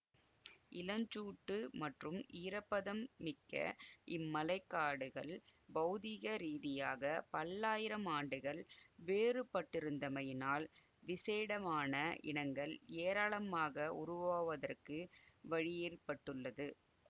இளஞ்சூட்டு மற்றும் ஈரப்பதன் மிக்க இம்மழைக்காடுகள் பௌதீக ரீதியாக பல்லாயிரம் ஆண்டுகள் வேறுபட்டிருந்தமையினால் விசேடமான இனங்கள் ஏராளமாக உருவாவதற்கு வழியேற்பட்டுள்ளது